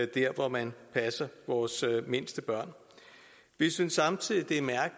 der hvor man passer vores mindste børn vi synes samtidig